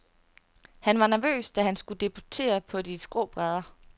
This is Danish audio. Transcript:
Han var nervøs, da han skulle debutere på de skrå brædder.